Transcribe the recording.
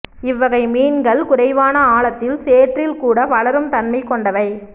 இவ்வகை மீன்கள் குறைவான ஆழத்தில் சேற்றில் கூட வளரும் தன்மை கொண்டவை